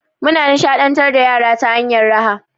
Muna nishaɗantar da yara ta hanyar raha.